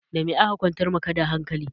Da me aka kwantar ma ka da hankali?